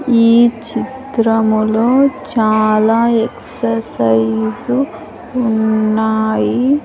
ఈ చిత్రములో చాలా ఎక్సర్సైజ్ ఉన్నాయి.